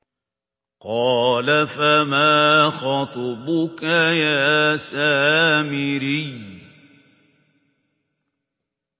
قَالَ فَمَا خَطْبُكَ يَا سَامِرِيُّ